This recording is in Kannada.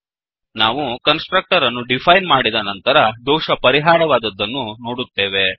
ನಾವು ಕನ್ಸ್ ಟ್ರಕ್ಟರ್ ಅನ್ನು ಡಿಫೈನ್ ಮಾಡಿದ ನಂತರ ದೋಷ ಪರಿಹಾರವಾದದ್ದನ್ನು ನೋಡುತ್ತೇವೆ